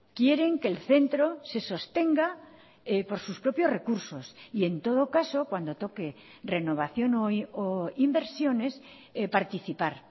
quieren que el centro se sostenga por sus propios recursos y en todo caso cuando toque renovación o inversiones participar